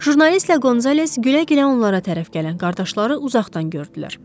Jurnalistlə Qonzales gülə-gülə onlara tərəf gələn qardaşları uzaqdan gördülər.